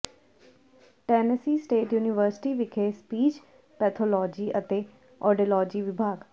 Tennessee state university ਵਿਖੇ speech pathology ਅਤੇ audiology ਵਿਭਾਗ